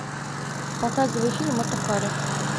показывай фильм мата хари